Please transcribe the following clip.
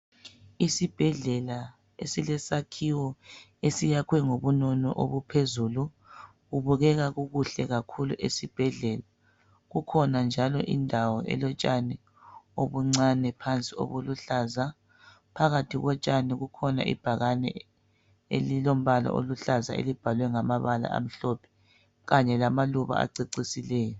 Isibhedlela esilesakhiwo esiyakhwe ngobunono obuphezulu kubukeka kukuhle kakhulu esibhedlela kukhona njalo indawo elotshani obuncani ubuluhlaza phakathi kotshani kulebhakani eliluhlaza eliluhlaza elibhalwe ngokumhlophe kanye lamaluba acecisileyo